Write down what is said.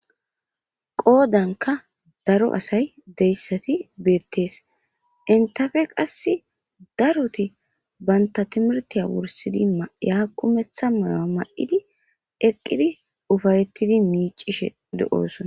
Qoodanka daro asay deyssati beettees entafe qass daroti banta timirtiya wursidi maya kumeththa mala ma7idi eqqidi ufayettidi miicishe de7oosona.